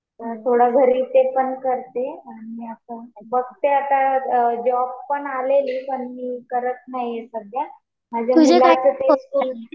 थोडं घरी ते पण करते. आणि आता बघते आता जॉब पण आलेली पण मी करत नाही सध्या माझ्या मुलाचं ते